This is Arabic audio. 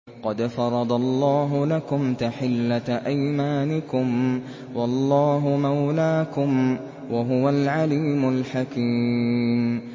قَدْ فَرَضَ اللَّهُ لَكُمْ تَحِلَّةَ أَيْمَانِكُمْ ۚ وَاللَّهُ مَوْلَاكُمْ ۖ وَهُوَ الْعَلِيمُ الْحَكِيمُ